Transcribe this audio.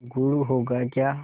गुड़ होगा क्या